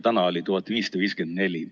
Täna oli 1554.